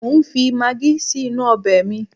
Mo ń fi magí si inú ọbẹ̀ mi